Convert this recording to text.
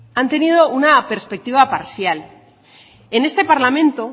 han tenido una perspectiva parcial en este parlamento